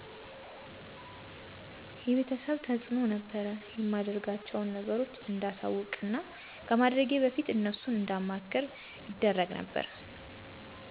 የቤተሰብ ተዕኖ ነበር የማደርጋቸውን ነገሮች እንዳሳወቅና ከማድረጌ በፊት እነሱን እንዳማክር ይደረግ ነበር